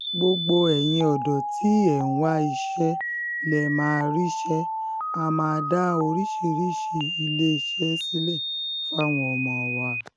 um gbogbo ẹ̀yin ọ̀dọ́ tí ẹ̀ ń wá iṣẹ́ lè um máa ríṣẹ́ á máa dá oríṣiríṣiì iléeṣẹ́ sílẹ̀ fáwọn ọmọ wa